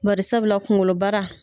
Bari sabula kungolo baara.